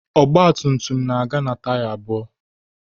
Ọgba tum tum na-aga na taya abụọ